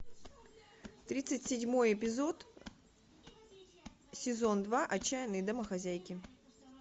тридцать седьмой эпизод сезон два отчаянные домохозяйки